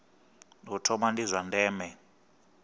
u thoma ndi zwa ndeme